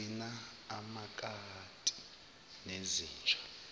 gcina amakati nezinja